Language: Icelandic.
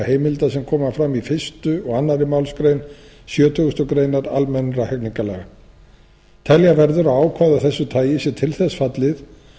heimilda sem koma fram í fyrsta og annarri málsgrein sjötugustu grein almennra hegningarlaga telja verður að ákvæði af þessu tagi sé til þess fallið